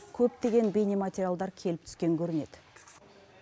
көптеген бейнематериалдар келіп түскен көрінеді